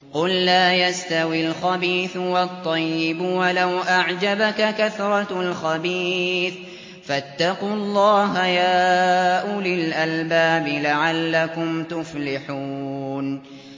قُل لَّا يَسْتَوِي الْخَبِيثُ وَالطَّيِّبُ وَلَوْ أَعْجَبَكَ كَثْرَةُ الْخَبِيثِ ۚ فَاتَّقُوا اللَّهَ يَا أُولِي الْأَلْبَابِ لَعَلَّكُمْ تُفْلِحُونَ